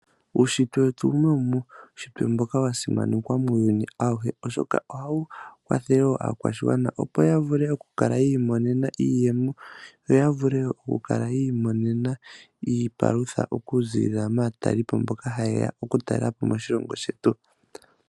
Uushitwe wetu mboka wasimanekwa muuyuni awuhe oshoka ohawu kwathele aakwashigwana opo yavule yiimonena iiyemo, yovule yiimonena iipalutha okuzilila maatalelipo mboka hayeya okutalela po moshilongo shetu.